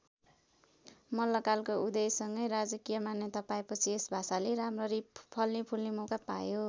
मल्लकालको उदयसँगै राजकीय मान्यता पाएपछि यस भाषाले राम्ररी फल्ने फुल्ने मौका पायो।